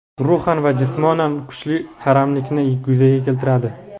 ruhan va jismonan kuchli qaramlikni yuzaga keltiradi.